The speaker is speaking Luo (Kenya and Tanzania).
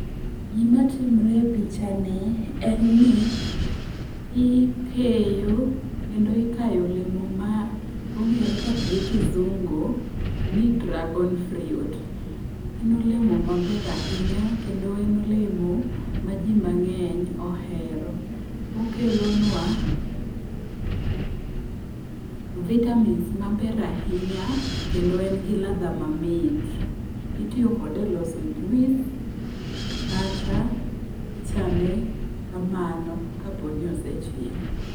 Gimatimre e pichani en ni, ikeyo kendo ikayo olemo ma ong'ere gi kizungu ni dragon fruit. En olemo maber ahinya kendo en olemo ma ji mang'eny ohero, okelonwa vitamins maber ahinya kendo en gi ladha mamit. Itiyo kode kode e loso juis kata ichame kamano kapo ni osechiek.